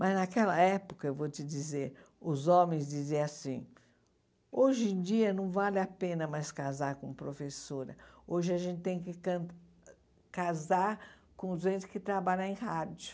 Mas naquela época, eu vou te dizer, os homens diziam assim, hoje em dia não vale a pena mais casar com professora, hoje a gente tem que can casar com os entes que trabalham em rádio.